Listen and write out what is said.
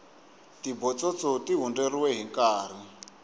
tibotsotso ti hundzeriwe hinkarhi